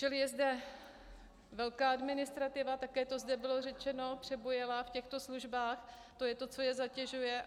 Čili je zde velká administrativa, také to zde bylo řečeno, přebujelá v těchto službách, to je to, co je zatěžuje.